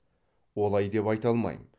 олай деп айта алмаймын